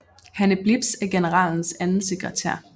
Hanne Blips er generalens anden sekretær